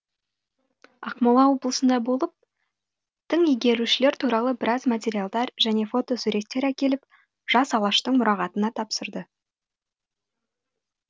ақмола облысында болып тың игерушілер туралы біраз материалдар және фотосуреттер әкеліп жас алаштың мұрағатына тапсырды